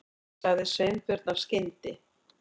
sagði Sveinbjörn af skyndi